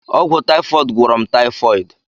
Ọgwụ taifọd gwọrọ m taifọdi.